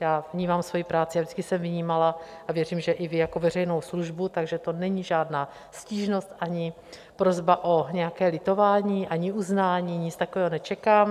Já vnímám svoji práci, a vždycky jsem vnímala a věřím, že i vy, jako veřejnou službu, takže to není žádná stížnost ani prosba o nějaké litování, ani uznání, nic takového nečekám.